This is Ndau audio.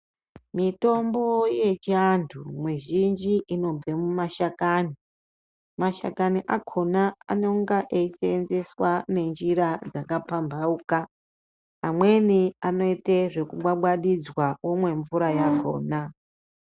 Mitombo yechiantu mizhinji inobve mumashakani mashakani akhona anenge eisenzeswa nenjira dzakapampauka amweni anoite zvekugwagwadidzwa womwe mvura yakhona.